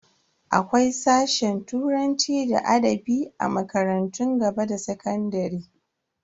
Akwai sashe turanci da adabi a makarantun gaba da sakandare.